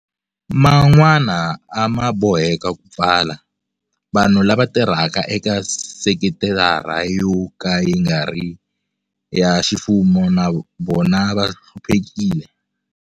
Man'wana a ma boheka ku pfala. Vanhu lava tirhaka eka sekitara yo ka yi nga ri ya ximfumo na vona va hluphekile.